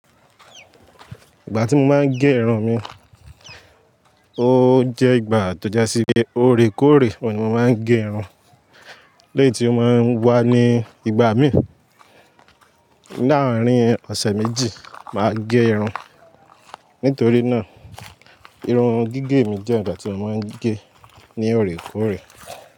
Ìgbà tí mo máa ń gé irun mi, ó jẹ́ ìgbà tó jásí gé ọ̀rẹ̀kóòrè ni mo máa ń gé irun. Léètí ó máa ń wà ní ìgbà míì. Ní àárín ọ̀sẹ̀ méjì máa gé irun. Nítorí náà irun gígẹ̀ mi jẹ́ ìgbà tí mo máa ń gé ní ọ̀rẹ́kóòrè.